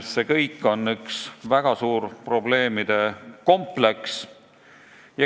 See kõik on üks väga suur probleemide kompleks.